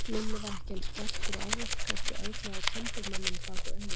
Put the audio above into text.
Lilli var ekki eins sperrtur og áður, kannski örlaði á timburmönnum bak við augun.